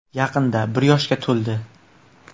Yaqinda bir yoshga to‘ldi.